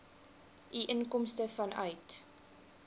u inkomste vanuit